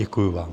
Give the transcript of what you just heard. Děkuji vám.